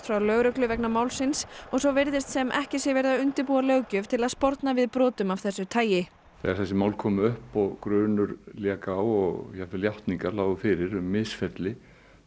frá lögreglu vegna málsins og svo virðist sem ekki sé verið að undirbúa löggjöf til að sporna við brotum af þessu tagi þegar þessi mál komu upp og grunur lék á og jafnvel játningar lágu fyrir um misferli